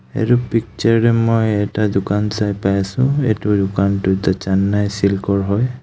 এইটো পিকচাৰ তো মই এটা দোকান চাই পাই আছো এইটো দোকান তো যে চেন্নাই চিল্ক ৰ হয়.